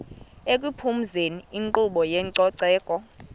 ekuphumezeni inkqubo yezococeko